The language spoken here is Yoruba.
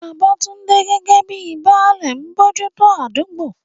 Babatunde, gẹ́gẹ́ bíi "Baale," ń bójú tó àdúgbò.